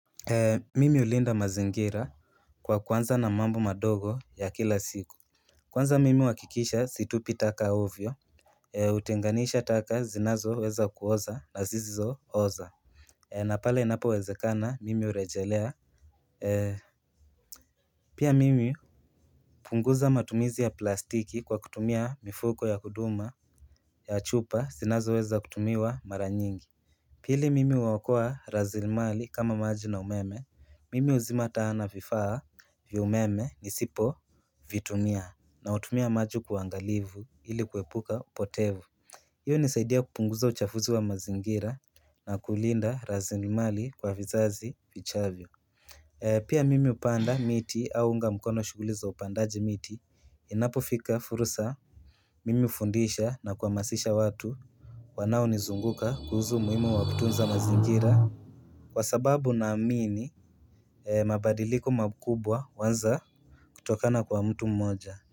Mimi ulinda mazingira kwa kuanza na mambo madogo ya kila siku Kwanza mimi huakikisha situpi taka ovyo Utenganisha taka zinazo weza kuoza na zizizo oza na pale inapo wezekana mimi urejelea Pia mimi hupunguza matumizi ya plastiki kwa kutumia mifuko ya kuduma ya chupa zinazoweza kutumiwa mara nyingi Pili mimi uokoa razilimali kama maji na umeme. Mimi uzima taa na vifaa vya umeme isipo Vitumia na utumia maji kwa uangalivu ili kwepuka upotevu Iyo inasaidia kupunguza uchafuzi wa mazingira na kulinda razilimali kwa vizazi vichavyo Pia mimi upanda miti au unga mkono shuguli za upandaji miti Inapofika fursa. Mimi hufundisha na kuamasisha watu wanao nizunguka kuhusu umuhimu wa kutunza mazingira Kwa sababu naamini mabadiliko makubwa huanza kutokana kwa mtu mmoja.